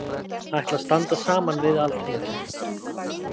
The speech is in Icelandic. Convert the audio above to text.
Ætla að standa saman við Alþingi